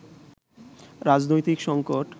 রাজনৈতিক সংকট